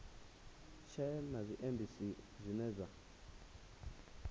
tshee na zwiendisi zwine zwa